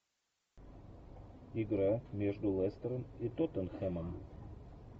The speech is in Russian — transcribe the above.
игра между лестером и тоттенхэмом